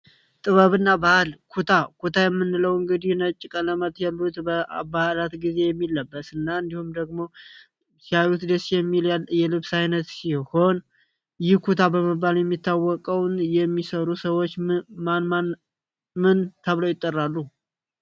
ጥበብ እና ባህል ኩታ ኩታ የምንለው እንግዲህ ነጭ ቀለመት የሉት በአባህላት ጊዜ የሚለበስ እና እንዲሁም ደግሞ 20 ሚሊያርድ እየልብስ ዓይነት ሲሆን ይህ ኩታ በመባል የሚታወቀውን የሚሰሩ ሰዎች ምን ተብለው ይጠራሉ።